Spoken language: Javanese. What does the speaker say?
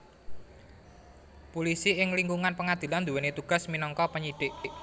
Pulisi ing lingkungan pengadilan nduwèni tugas minangka penyidik